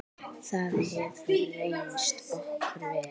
Það hefur reynst okkur vel.